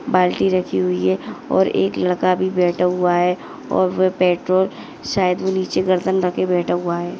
बाल्टी रखी हुई है और एक लड़का भी बैठा हुआ है और वो पेट्रोल शायद वो निचे गर्दन रखे बैठा हुआ है।